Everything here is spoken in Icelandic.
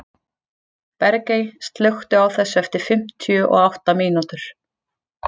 Bergey, slökktu á þessu eftir fimmtíu og átta mínútur.